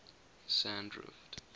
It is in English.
sandrift